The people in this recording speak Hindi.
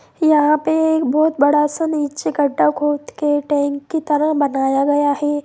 यहाँ पे बहुत बड़ा सा नीचे गड्ढा खोद के टैंक की तरह बनाया गया है।